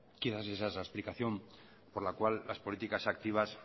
explicación por la cual las políticas activas